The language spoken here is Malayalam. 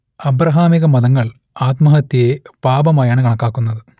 അബ്രഹാമികമതങ്ങൾ ആത്മഹത്യയെ പാപമായാണ് കണക്കാക്കുന്നത്